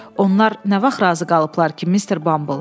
Onlar nə vaxt razı qalıblar ki, Mister Bumble.